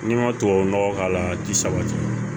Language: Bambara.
N'i ma tubabu nɔgɔ k'a la a ti sabati